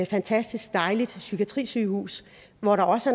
fantastisk dejligt psykiatrisygehus hvor der også